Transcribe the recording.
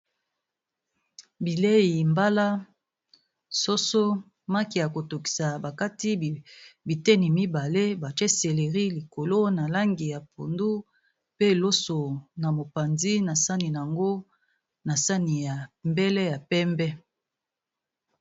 Bilei mbala, soso, maki ya ko tokisa ba kati biteni mibale, batie seleri likolo na langi ya pondu, pe loso na mopanzi na sani nango na sani ya mbele ya pembe.